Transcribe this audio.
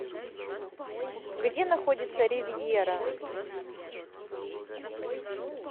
где находится ривьера